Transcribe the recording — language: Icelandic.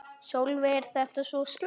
Sólveig: Er þetta svo slæmt?